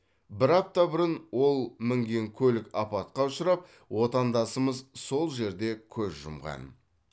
бір апта бұрын ол мінген көлік апатқа ұшырап отандасымыз сол жерде көз жұмған